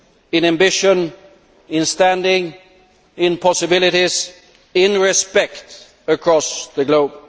in ambition, in standing, in possibilities, in respect across the globe.